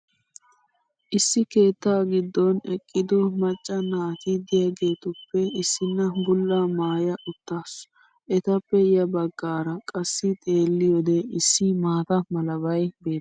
issi keettaa giddon eqqido macca naati diyaageetuppe issina bulaa maaya utaasu. etappe ya bagaara qassi xeeliyoode issi maata malabay beetees